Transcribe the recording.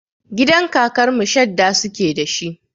Gidan kakar mu shadda suke da shi.